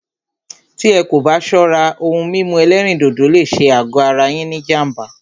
Tí ẹ́ kò bá ṣọ́rá, òhún mímú ẹ̀lẹ́rìndodò lé ṣé àgọ ara ní jám̀bá.